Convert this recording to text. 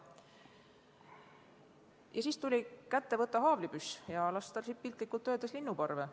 Ja siis tuli kätte võtta haavlipüss ja piltlikult öeldes lasta linnuparve.